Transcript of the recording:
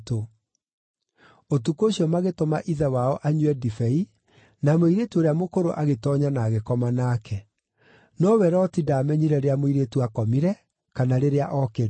Ũtukũ ũcio magĩtũma ithe wao anyue ndibei, na mũirĩtu ũrĩa mũkũrũ agĩtoonya na agĩkoma nake. Nowe Loti ndaamenyire rĩrĩa mũirĩtu aakomire kana rĩrĩa ookĩrire.